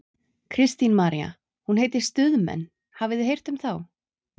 Kristín María: Hún heitir Stuðmenn, hafið þið heyrt um þá?